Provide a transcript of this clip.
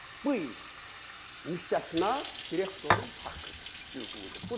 Bu iş müstəsna direktorun haqqıdır, hüququdur.